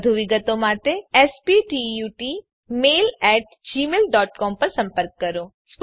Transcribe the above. વધુ વિગત માટે contactspoken tutorialorg પર સંપર્ક કરો